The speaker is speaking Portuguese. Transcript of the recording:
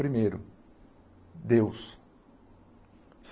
Primeiro, Deus.